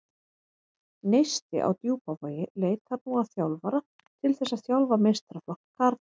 Neisti á Djúpavogi leitar nú að þjálfara til þess að þjálfa meistaraflokk karla.